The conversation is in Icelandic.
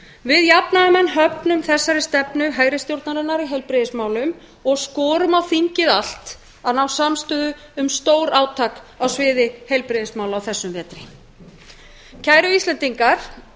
við jafnaðarmenn höfnum þessari stefnu hægri stjórnarinnar í heilbrigðismálum og skorum á þingið allt að ná samstöðu um stórátak á sviði heilbrigðismála á þessum vetri kæru íslendingar